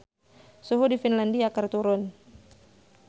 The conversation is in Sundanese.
Suhu di Finlandia keur turun